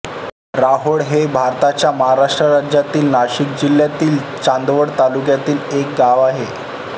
राहोड हे भारताच्या महाराष्ट्र राज्यातील नाशिक जिल्ह्यातील चांदवड तालुक्यातील एक गाव आहे